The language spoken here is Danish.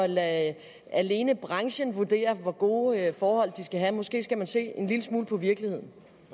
lade alene branchen vurdere hvor gode forhold de skal have måske skal man se en lille smule på virkeligheden